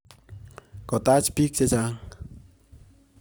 Kotaach piik che chang'.